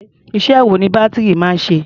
Iṣẹ́ wo ni bátìrì máa ń ṣe?